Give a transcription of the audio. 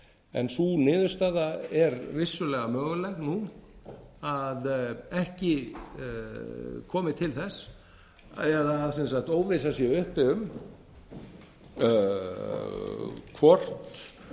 en sú niðurstaða er vissulega möguleg nú að ekki komi til þess eða sem sagt að óvissa sé uppi sé uppi um hvort